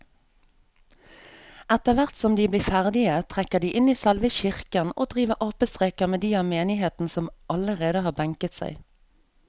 Etterthvert som de blir ferdige trekker de inn i selve kirken og driver apestreker med de av menigheten som allerede har benket seg.